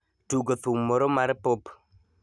tugo thum moro mar pop